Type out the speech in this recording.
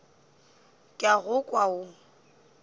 ke a go kwa o